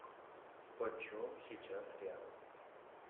почем сейчас реал